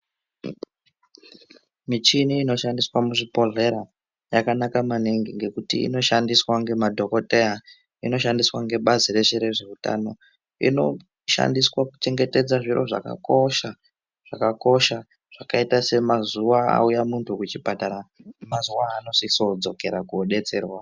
Michini inoshandiswa muzvibhedhlera yakanaka maningi ngekuti inoshandiswa nemadhokodhera. Inoshandiswa ngebazi reshe rezveutano. Inoshandiswa kuchengetedza zviro zvakakosha, zvakakosha zvakaita semazuva auya muntu kuchipatara, mazuva aanosise kudzokera kunodetserwa.